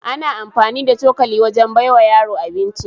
Ana amfani da cokali wajen baiwa yaro abinci